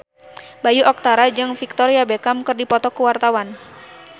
Bayu Octara jeung Victoria Beckham keur dipoto ku wartawan